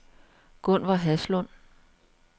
Gunver Haslund